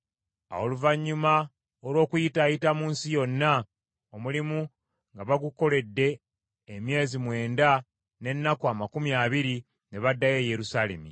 Awo oluvannyuma olw’okuyitaayita mu nsi yonna omulimu nga bagukoledde emyezi mwenda n’ennaku amakumi abiri, ne baddayo e Yerusaalemi.